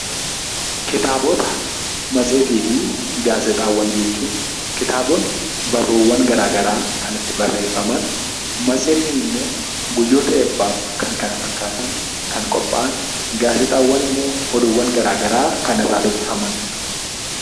Kitaabota, matseetii fi gaazexaawwan jechuun: Kitaabonni barruuwwan gara garaa kan itti barreeffaman. Matseetiin immoo guyyoota eebbaaf kan kana fakkaatan kan qophaa'an. Gaazexaawwan immoo oduuwwan gara garaa kan irraa dubbifamani dha.